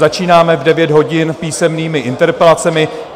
Začínáme v 9 hodin písemnými interpelacemi.